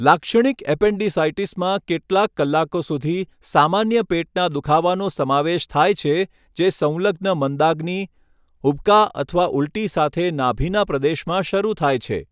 લાક્ષણિક એપેન્ડિસાઈટિસમાં કેટલાક કલાકો સુધી સામાન્ય પેટના દુખાવાનો સમાવેશ થાય છે જે સંલગ્ન મંદાગ્નિ, ઉબકા અથવા ઉલટી સાથે નાભિના પ્રદેશમાં શરૂ થાય છે.